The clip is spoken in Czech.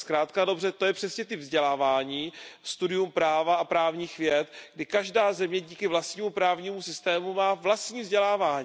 Zkrátka a dobře, to je přesně typ vzdělávání, studium práva a právních věd, kdy každá země díky vlastnímu právnímu systému má vlastní vzdělávání.